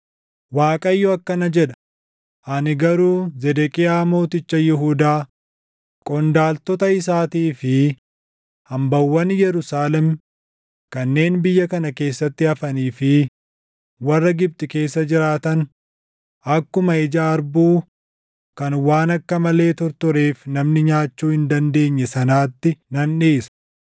“‘ Waaqayyo akkana jedha; ani garuu Zedeqiyaa mooticha Yihuudaa, qondaaltota isaatii fi hambaawwan Yerusaalem kanneen biyya kana keessatti hafanii fi warra Gibxi keessa jiraatan akkuma ija harbuu kan waan akka malee tortoreef namni nyaachuu hin dandeenye sanaatti nan dhiisa.